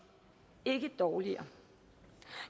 ikke et dårligere